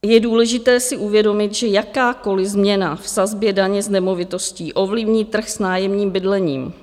Je důležité si uvědomit, že jakákoliv změna v sazbě daně z nemovitostí ovlivní trh s nájemním bydlením.